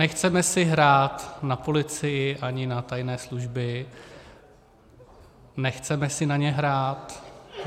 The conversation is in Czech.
Nechceme si hrát na policii ani na tajné služby, nechceme si na ně hrát.